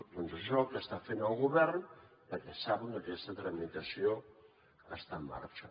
doncs això és el que està fent el govern perquè saben que aquesta tramitació està en marxa